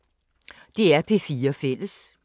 DR P4 Fælles